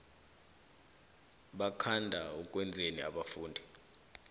bakhanda ukwenzani abafundi